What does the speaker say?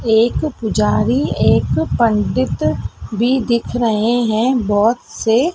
एक पुजारी एक पंडित भी दिख रहे हैं बहोत से।